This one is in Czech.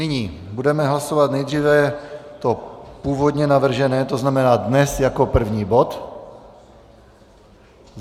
Nyní budeme hlasovat nejdříve to původně navržené, to znamená dnes jako první bod.